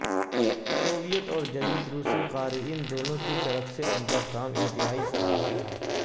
Soviet اور جدید روسی قارئین دونوں کی طرف سے ان کا کام انتہائی سراہا تھا